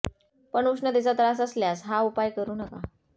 पण उष्णतेचा त्रास असल्यास हा उपाय करू नका